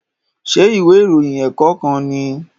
Ṣé ìwé ìròyìn ẹ̀kọ́ kan nìí?